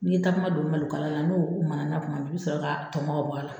N'i ye takuma don malokala n'o mana kuma min i bi sɔrɔ ka tɔnmɔ ka bɔ a la.